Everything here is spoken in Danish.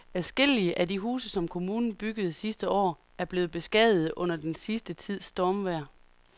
Adskillige af de huse, som kommunen byggede sidste år, er blevet beskadiget under den sidste tids stormvejr.